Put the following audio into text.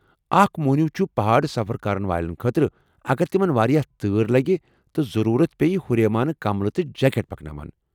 اکھ موہنِیو چُھ پہٲڑ سفر کرن والین خٲطرٕ، اگر تمن واریاہ تۭر لگہِ تہٕ ضرورت پٮ۪یہِ، ہُریمانہٕ کملہٕ تہٕ جیکٹ پکناوان ۔